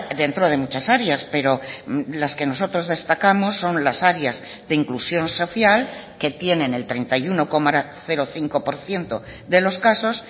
dentro de muchas áreas pero las que nosotros destacamos son las áreas de inclusión social que tienen el treinta y uno coma cinco por ciento de los casos